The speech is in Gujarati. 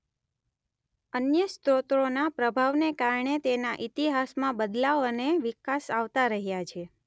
અન્ય સ્રોતોના પ્રભાવને કારણે તેના ઇતિહાસમાં બદલાવ અને વિકાસ આવતા રહ્યા છે.